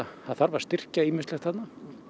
það þarf að styrkja ýmislegt þarna